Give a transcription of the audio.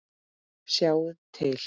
Sjáiði til!